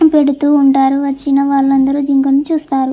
పెడుతూ ఉంటారు వచ్చిన వలందరు జింకను చూస్తరు.